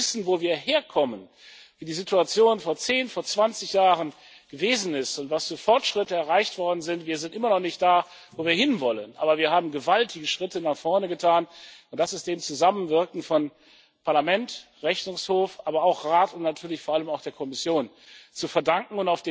Und wenn wir wissen, wo wir herkommen, wie die Situation vor zehn, vor zwanzig Jahren gewesen ist und was für Fortschritte erreicht worden sind wir sind immer noch nicht da, wo wir hin wollen, aber wir haben gewaltige Schritte nach vorne getan, und das ist dem Zusammenwirken von Parlament, Rechnungshof, aber auch Rat und natürlich vor allem auch der Kommission zu verdanken.